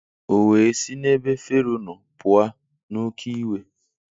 O we si n'ebe Fero nọ pua n'oke iwe